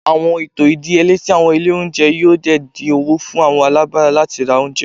Awọn eto idiyele ti awọn ile ounjẹ yoo di din owo fun awọn alabara lati ra ounjẹ